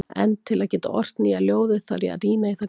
En til að geta ort nýja ljóðið þarf ég að rýna í það gamla.